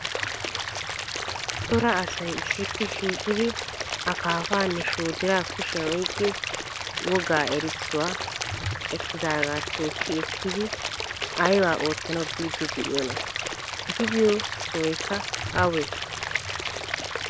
Cora asay issippe shiiqidi akaafaanne shoodiraa kushiyan oyqqidi wogga erissuwa kaqettidaagaa tookki ekkidi aybaa oottanawu biiddi de'iyoonaa? Eti biyo sohaykka awee?